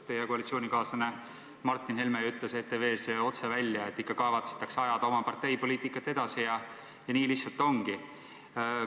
Teie koalitsioonikaaslane Martin Helme ju ütles ETV-s otse välja, et ikka kavatsetakse ajada oma partei poliitikat ja nii lihtsalt ongi.